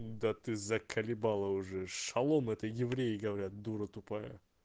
да ты заколебала уже шалом это евреи говорят дура тупая